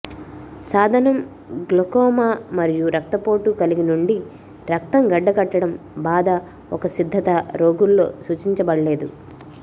సాధనం గ్లాకోమా మరియు రక్తపోటు కలిగి నుండి రక్తం గడ్డకట్టడం బాధ ఒక సిద్ధత రోగుల్లో సూచించబడలేదు